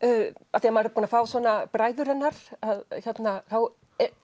af því maður er búin að fá bræður hennar þá